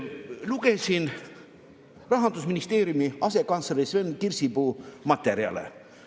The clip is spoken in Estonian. Lugesin Rahandusministeeriumi asekantsleri Sven Kirsipuu materjale.